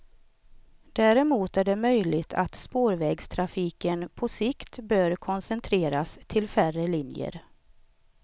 Däremot är det möjligt att spårvägstrafiken på sikt bör koncentreras till färre linjer.